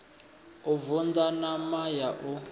u vunḓa ṋama ya ḽa